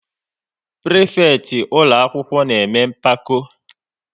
Prịfekịtị ụlọakwụkwọ na-eme mpako